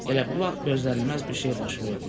Elə bu vaxt gözlənilməz bir şey baş verdi.